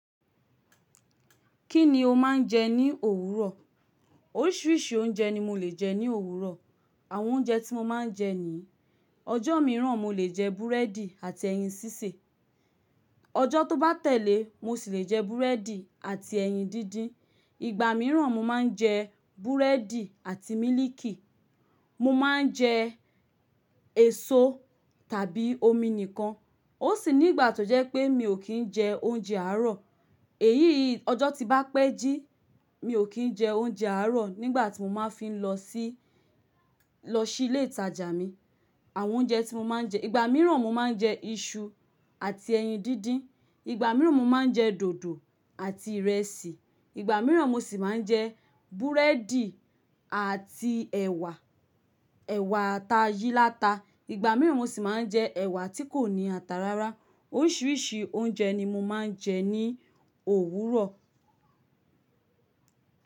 Kí ni o máa ń jẹ ní òwúrọ̀? Oríṣiríṣi oúnjẹ ni mo lè jẹ ní òwúrọ̀. Àwọn oúnjẹ tí mo máa ń jẹ ni ọjọ́ mìíràn, mo lè jẹ búrẹ́dì àti ẹyin sísè. Ọjọ́ tó bá tẹ̀lé, mo sì lè jẹ búrẹ́dì àti ẹyin díndín. Ìgbà mìíràn, mo máa ń jẹ búrẹ́dì àti mílíìkì. Mo máa ń jẹ èso tàbí omi nìkan. Ó sì ní ìgbà tó jẹ́ pé mi ò kí ń jẹ oúnjẹ àárọ̀. Èyí ọjọ́ ti bá pẹ́ jí, mi ò kí ń jẹ oúnjẹ àárọ̀ nígbà tí mo máa fi ń lọ sí, lọ sí ilé ìtajà mi. Àwọn oúnjẹ tí mo máa ń jẹ, ìgbà mìíràn mo máa ń jẹ iṣu àti ẹyin díndín. Ìgbà mìíràn mo máa ń jẹ dòdò àti ìrẹsì. Ìgbà mìíràn mo sì máa ń jẹ búrẹ́dì àti ẹ̀wà, ẹ̀wà t'a yí láta. Ìgbà mìíràn mo sì máa ń jẹ ẹ̀wà tí kò ní ata rárá. Oríṣiríṣi oúnjẹ ni mo máa ń jẹ ní òwúrọ̀